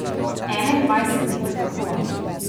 Enaindvajset dni pred pokolom.